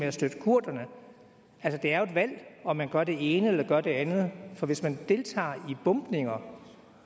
at støtte kurderne altså det er jo et valg om man gør det ene eller gør det andet for hvis man deltager i bombninger